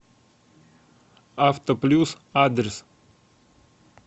авто плюс адрес